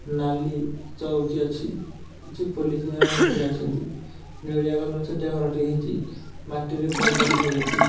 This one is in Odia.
ନାଲି ଚୌକି ଅଛି କିଛି ପୋଲିସ ଭାଇମାନେ ଛିଡ଼ା ହେଇଛନ୍ତି। ନେଳିଆ କଲର୍ ଛୋଟିଆ ଘର ଟିଏ ହେଇଚି। ମାଟିରେ ପଡ଼ିଆ ଟିଏ ହେଇଚି।